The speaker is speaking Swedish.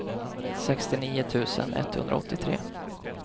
sextionio tusen etthundraåttiotre